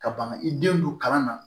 Ka ban i denw don kalan na